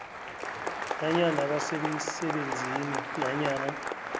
nanyana basemsebenzini nanyana